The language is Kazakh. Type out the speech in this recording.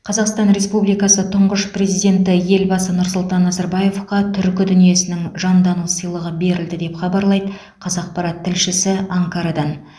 қазақстан республикасы тұңғыш президенті елбасы нұрсұлтан назарбаевқа түркі дүниесінің жандану сыйлығы берілді деп хабарлайды қазақпарат тілшісі анкарадан